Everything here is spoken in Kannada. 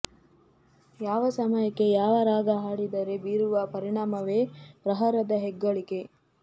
ಯಾವ ಸಮಯಕ್ಕೆ ಯಾವ ರಾಗ ಹಾಡಿದರೆ ಬೀರುವ ಪರಿಣಾಮವೇ ಪ್ರಹರದ ಹೆಗ್ಗಳಿಕೆ